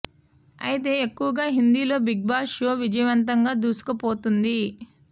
అయితే ఎక్కువగా హిందీలో బిగ్ బాస్ షో విజయవంతంగా దూసుకుపోతోంది